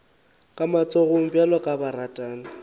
ka matsogo bjalo ka baratani